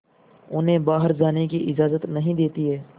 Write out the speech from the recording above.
उन्हें बाहर जाने की इजाज़त नहीं देती है